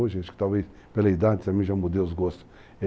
Hoje, acho que talvez, pela idade, também já mudei os gostos.